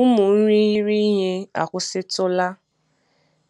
Ụmụ irighiri ihe akwụsịtụla